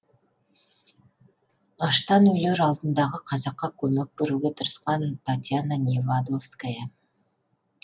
аштан өлер алдындағы қазаққа көмек беруге тырысқан татьяна невадовская